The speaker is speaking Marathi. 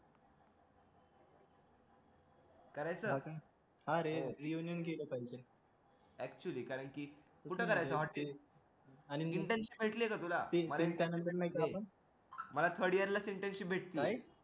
करायचं हा रे reunion केलं पाहिजे actually कारण कि कुठं करायचं hotel मला third year ला internship भेटली